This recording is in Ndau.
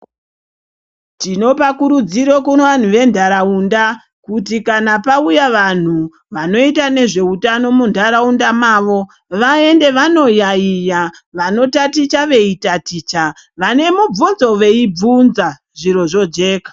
Tinopa kurudziro kuvanhu ventaraunda, kuti kana pawuya vanhu vanoita ngezvehutano muntaraunda mavo ,vaende vanoyayiya, vanotaticha veyitaticha ,vanemibvunzoveyibvunza zviro zvojeka.